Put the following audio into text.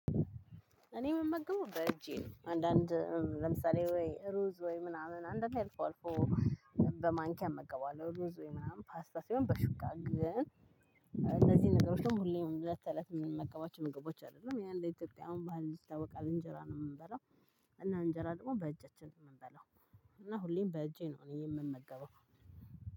እኔ የምመገቡ በእጄ ነው አንዳንድ ለምሳሌ ወይ ሩዝ ወይ ምናምን አንዳንዴ አልፎ አልፎ። በማንኪያ እመገባለሁ ሩዝ ሆይ ምናምን ፓስታ ሲሆን በሹካ ግን። እንደዚህ ነገሮችን ሁሌም እለት ተእለት የምመገባቸው ምግቦች አይደለም ያው እንደ ኢትዮጵያ ባህል ይታወቃል እንጀራ ነው የምንበለው። እና እንጀራ ደግሞ በእጃችን ነው የምንበለው። እና ሁሌም በእጄ ነው እኔ የምመገበው።